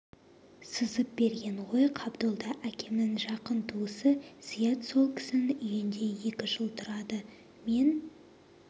сызып берген ғой қабдолда әкемнің жақын туысы зият сол кісінің үйінде екі жыл тұрады мен